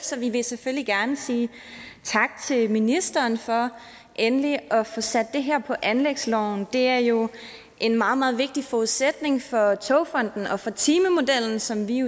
så vi vil selvfølgelig gerne sige tak til ministeren for endelig at få sat det her på anlægsloven det er jo en meget meget vigtig forudsætning for togfonden dk og for timemodellen som vi